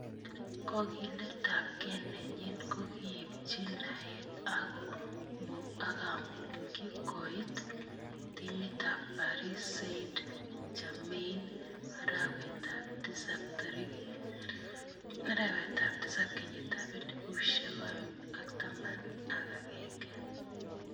Kakiletab ke nenyin kokiibchi naet ako komukyi koit timit ab Paris Saint-Germain arawet ab tisab 2011